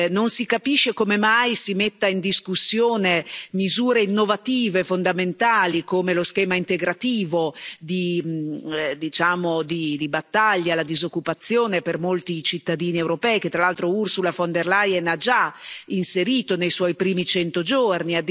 Non si capisce come mai si mettano in discussione misure innovative fondamentali, come lo schema integrativo di battaglia alla disoccupazione per molti cittadini europei, che tra l'altro Ursula von der Leyen ha già inserito nei suoi primi cento giorni.